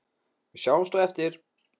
Við sjáumst á eftir.